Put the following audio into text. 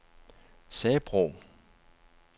Sabro